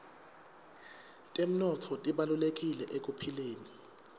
temnotfo tibalulekile ekuphileni